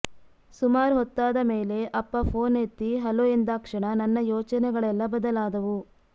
ಸುಮಾರ್ ಹೊತ್ತಾದ ಮೇಲೆ ಅಪ್ಪ ಫೋನ್ ಎತ್ತಿ ಹಲೋ ಎಂದಾಕ್ಷಣ ನನ್ನ ಯೋಚನೆಗಳೆಲ್ಲಾ ಬದಲಾದವು